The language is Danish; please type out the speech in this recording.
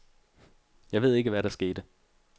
Jeg ved ikke, hvad der skete.